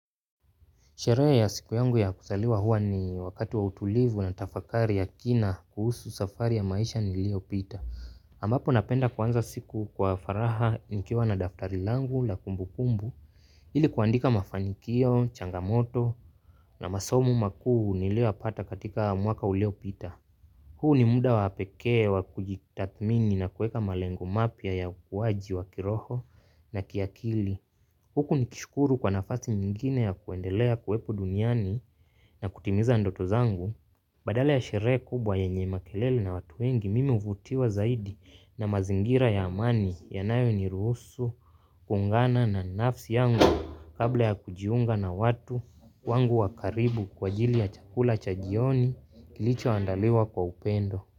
Sherehe ya siku yangu ya kuzaliwa huwa ni wakati wa utulivu na tafakari ya kina kuhusu safari ya maisha niliyo pita. Ambapo napenda kuanza siku kwa faraha nkiwa na daftari langu la kumbu kumbu ili kuandika mafanikio, changamoto na masomu makuu nilio yapata katika mwaka ulio pita. Huu ni muda wapekee wa kujitathmini na kueka malengo mapya ya ukuaji wa kiroho na kiakili. Huku ni kishukuru kwa nafasi nyingine ya kuendelea kuwepo duniani na kutimiza ndoto zangu, badala ya sherehe kubwa yenye makelele na watu wengi mime uvutiwa zaidi na mazingira ya amani ya nayo ni ruhusu, kungana na nafsi yangu kabla ya kujiunga na watu wangu wakaribu kwa jili ya chakula chajioni kilicho andaliwa kwa upendo.